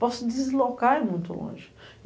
Posso se deslocar e é muito longe.